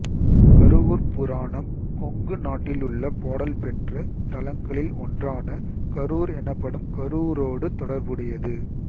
கருவூர்ப் புராணம் கொங்கு நாட்டிலுள்ள பாடல் பெற்ற தலங்களில் ஒன்றான கரூர் எனப்படும் கருவூரோடு தொடர்புடையது